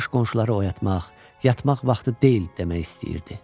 Yatmış qonşuları oyatmaq, yatmaq vaxtı deyil demək istəyirdi.